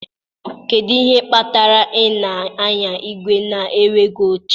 Kedu ihe kpatara ị na-anya igwe na-enweghị oche?